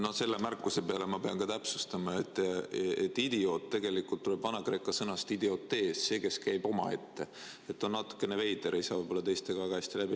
No selle märkuse peale ma pean täpsustama, et sõna "idioot" tegelikult tuleneb vanakreeka sõnast idios – see, kes käib omaette, st on natukene veider, ei saa võib-olla teistega väga hästi läbi.